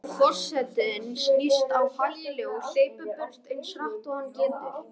Forsetinn snýst á hæli og hleypur burt eins hratt og hann getur.